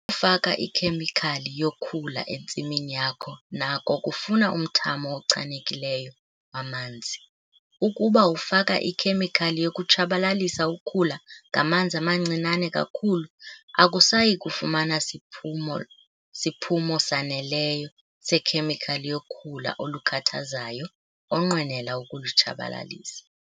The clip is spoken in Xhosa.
faka ikhemikhali yokhula entsimini yakho nako kufuna umthamo ochanekileyo wamanzi. Ukuba ufaka ikhemikhali yokutshabalalisa ukhula ngamanzi amancinane kakhulu, akusayi kufumana siphumo siphumo saneleyo sekhemikhali yokhula olukhathazayo onqwenela ukulutshabalalisa.